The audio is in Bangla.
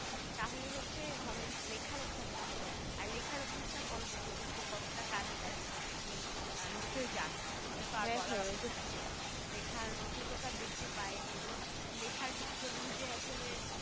তাহলে হচ্ছে হবে লেখার অভ্যাসটা হবে আর লেখার অভ্যাসটা পরবর্তীতে যে কতটা কাজে দেয় সেটা তো তুমি নিশ্চয়ই জানো। এটা তো তার বলা অপেক্ষা রাখে না। লেখার দ্রুততা বৃদ্ধি পায় এবং লেখার জন্য যে আসলে